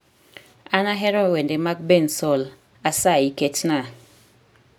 An ahero wende mag bensoul asayi ketnaa